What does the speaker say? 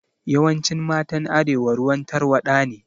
Yawancin matan arewa ruwan tarwaɗa ne